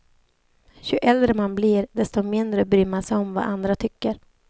Ju äldre man blir, desto mindre bryr man sig om vad andra tycker.